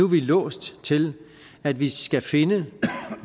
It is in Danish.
vi låst til at vi skal finde